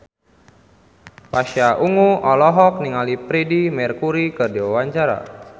Pasha Ungu olohok ningali Freedie Mercury keur diwawancara